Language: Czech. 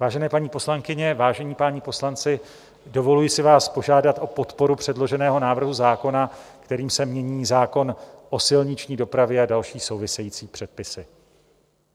Vážené paní poslankyně, vážení páni poslanci, dovoluji si vás požádat o podporu předloženého návrhu zákona, kterým se mění zákon o silniční dopravě a další související předpisy.